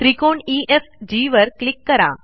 त्रिकोण ईएफजी वर क्लिक करा